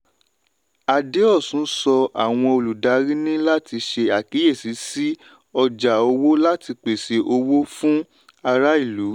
adeosun sọ àwọn olùdarí ní láti ṣe àkíyèsí sí ọjà owó láti pèsè owó fún ará ìlú.